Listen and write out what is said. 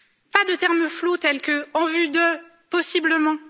Pas de termes flous, tels que en vue de ou possiblement.